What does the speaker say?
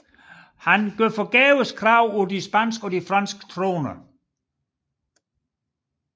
Han gjorde forgæves krav på de spanske og franske troner